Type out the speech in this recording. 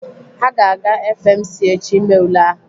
Ha ga-aga FMC echi ime ule ahụ.